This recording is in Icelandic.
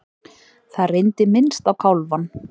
Það reyndi minnst á kálfann.